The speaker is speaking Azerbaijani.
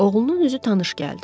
Oğlunun üzü tanış gəldi.